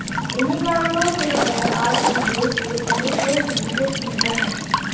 इन्हीं कारणों से वह आज भी देश के सर्वश्रेष्ठ विकेटकीपर हैं